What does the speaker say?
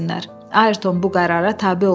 Ayrton bu qərara tabe oldu.